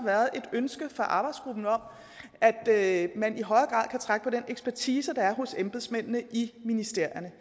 ønske i arbejdsgruppen om at man i højere grad kan trække på den ekspertise der er hos embedsmændene i ministerierne